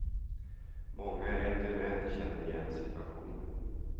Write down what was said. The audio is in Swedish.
Många äldre män känner igen situationen.